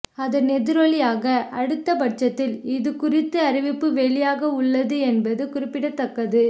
அதன் எதிரொலியாக அடுத்த பட்ஜெட்டில் இது குறித்த அறிவிப்பு வெளியாக உள்ளது என்பது குறிப்பிடத்தக்கது